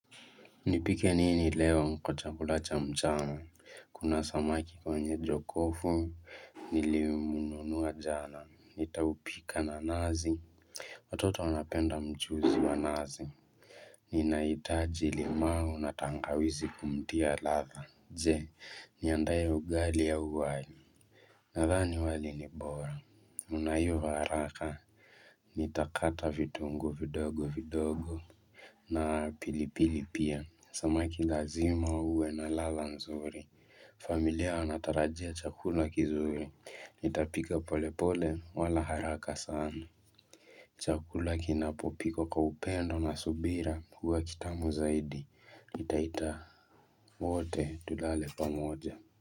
Nipike nini leo mko chakula cha mchama, kuna samaki kwenye jokofu, nilimununua jana, nitaupika na nazi Watoto wanapenda mchuzi wa nazi Ninaitaji limau na tangawizi kumtia ladha, je, niandae ugali au wali Nadhani wali ni bora, unaiva haraka, nitakata vitunguu vidogo vidogo na pilipili pia, samaki lazima uwe na ladha nzuri familia wanatarajia chakula kizuri, nitapika polepole wala haraka sana Chakula kinapopikwa kwa upendo na subira, huwa kitamu zaidi, nitaita wote tulale pamoja.